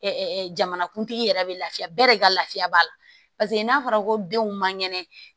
jamanakuntigi yɛrɛ bɛ lafiya bɛɛ de ka lafiya b'a la paseke n'a fɔra ko denw man kɛnɛ